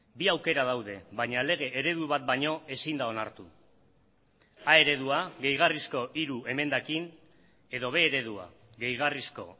bi aukera daude baina lege eredu bat baino ezin da onartu a eredua gehigarrizko hiru emendakin edo b eredua gehigarrizko